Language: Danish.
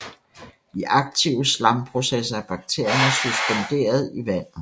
I aktive slamprocesser er bakterierne suspenderet i vandet